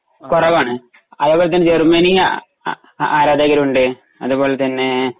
കുറവാണു അതുപോലെ തന്നെ ജർമ്മനി അ ആ ആ ആരാധകരുമുണ്ട് അതുപോലെ തന്നെ